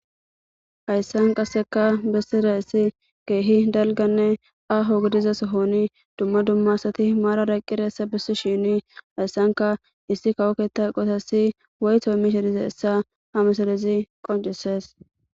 Hayssan qasseka bessirayssi keehi dalganne aaho gidiza sohoni dumma dumma asati maarada eqqidayssa bessishiini hayssanka issi kawo ketta eqotassi woyto immishe dizayssa ha misilezi qonccisees.